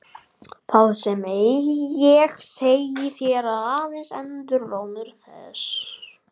Það sem ég segi þér er aðeins endurómur þess.